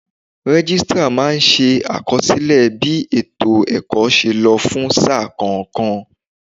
Registrar máa ń ṣe àkọsílẹ̀ bí ètò ẹ̀kọ́ ṣe lọ fún sáà kọ̀ọ̀kan.